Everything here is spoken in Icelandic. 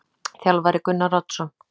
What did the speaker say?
Þjálfari: Gunnar Oddsson.